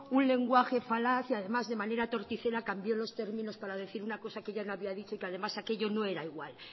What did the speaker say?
un lenguaje falaz y además de manera torticera cambió los términos para decir una cosa que yo no había dicho y además aquello no era igual